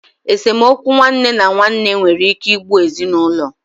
Esemokwu nwanne na nwanne nwere ike igbu ezinaulo.